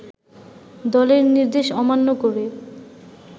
দলের নির্দেশ অমান্য করে